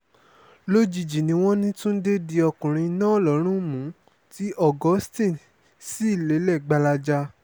lójijì ni wọ́n ní túnde di ọkùnrin náà lọ́run mú tí augustine sì lèlè gbalaja